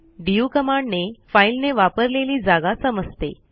DU कमांडने फाईलने वापरलेली जागा समजते